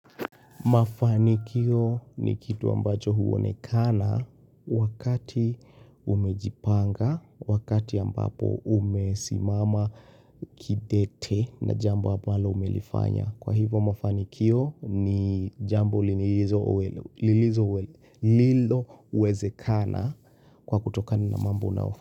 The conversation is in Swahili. Mafanikio ni kitu ambacho huwonekana wakati umejipanga, wakati ambapo umesimama kidete na jambo ambalo umelifanya. Kwa hivo mafanikio ni jambo liloweze kana kwa kutokana na mambo nao.